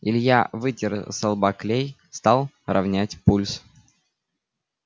илья вытер со лба клей стал ровнять пульс